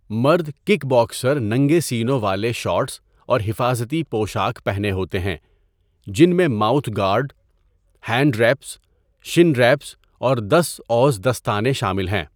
مرد kick boxer ننگے سینوں والے شارٹس اور حفاظتی پوشاک پہنے ہوتے ہیں جن میں mouth guard, hand wraps, shin wraps, اور دس اوز دستانے شامل ہیں.